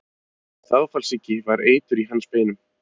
Þágufallssýki var eitur í hans beinum.